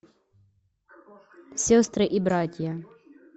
сестры и братья